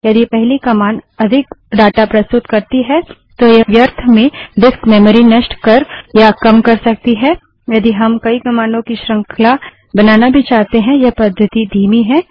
यदि पहली कमांड अधिक डाटा प्रस्तुत करती है तो यह व्यर्थ में डिस्क मेमरी नष्ट कर या कम कर सकती है यदि हम कई कमांडों की श्रृंखला बनाना भी चाहते हैं यह पद्धति धीमी है